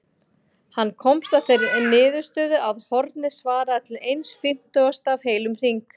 Hann komst að þeirri niðurstöðu að hornið svaraði til eins fimmtugasta af heilum hring.